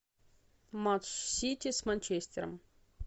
матч сити с манчестером